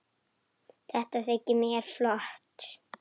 Þetta þykir mér flott!